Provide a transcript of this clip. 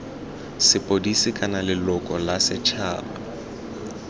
sepodisi kana leloko la setšhaba